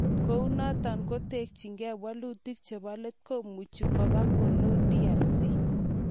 Ako ngot koketchigei walutik chebo let komuchi koba koloo DRC